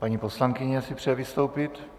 Paní poslankyně si přeje vystoupit.